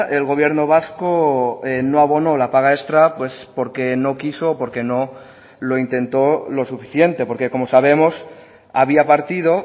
el gobierno vasco no abonó la paga extra pues porque no quiso o porque no lo intentó lo suficiente porque como sabemos había partido